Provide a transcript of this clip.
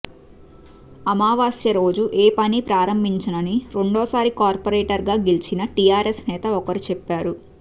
అమావాస్య రోజు ఏ పనీ ప్రారంభించనని రెండోసారి కార్పొరేటర్గా గెలిచిన టీఆర్ఎస్ నేత ఒకరు చెప్పారు